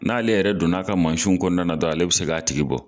N'ale yɛrɛ don n'a ka mansinw kɔnɔna na dɔn ale bɛ se k'a tigi bɔ.